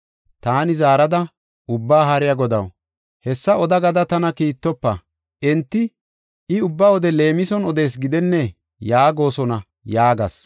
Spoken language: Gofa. Taani zaarada, “Ubbaa Haariya Godaw, hessa oda gada tana kiittofa. Enti, ‘I ubba wode leemison odees gidennee?’ yaagosona” yaagas.